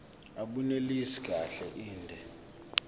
abunelisi kahle inde